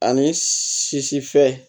Ani sisi fɛ